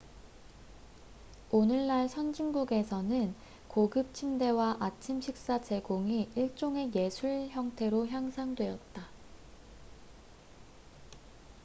오늘날 선진국에서는 고급 침대와 아침 식사 제공이 일종의 예술 형태로 향상되었다